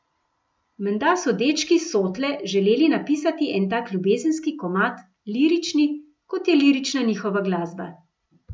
Menda so dečki s Sotle želeli napisati en tak ljubezenski komad, lirični, kot je lirična njihova glasba.